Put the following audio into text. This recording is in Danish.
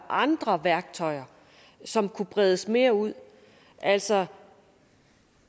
andre værktøjer som kunne bredes mere ud altså